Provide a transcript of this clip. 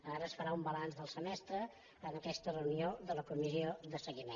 ara es farà un balanç del semestre en aquesta reunió de la comissió de seguiment